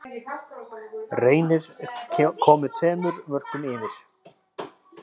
Reynir komið tveimur mörkum yfir.